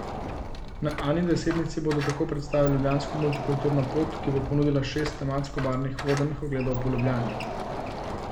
Na Ani Desetnici bodo tako predstavili Ljubljansko multikulturno pot, ki bo ponudila šest tematsko obarvanih vodenih ogledov po Ljubljani.